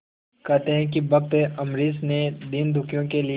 कहते हैं भक्त अम्बरीश ने दीनदुखियों के लिए